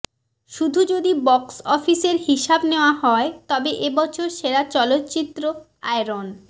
শুধু যদি বক্স অফিসের হিসাব নেওয়া হয় তবে এ বছরের সেরা চলচ্চিত্র আয়রন